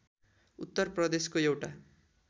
उत्तर प्रदेशको एउटा